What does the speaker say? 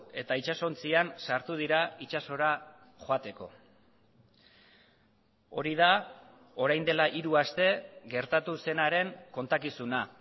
eta itsasontzian sartu dira itsasora joateko hori da orain dela hiru aste gertatu zenaren kontakizuna